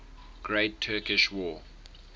great turkish war